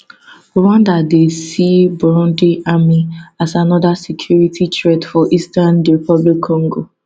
rwanda dey see burundi army as anoda security threat for eastern dr congo